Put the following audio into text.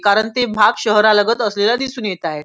कारण ते भाग शहरा लागत असलेला दिसून येत आहे.